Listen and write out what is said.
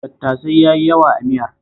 Tattasai ya yi yawa a miyar